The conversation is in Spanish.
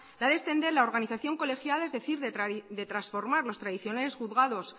la de extender la organización colegiada es decir de transformar los tradicionales juzgados